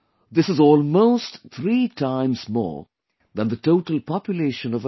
This is almost three times more than the total population of America